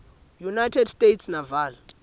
united states naval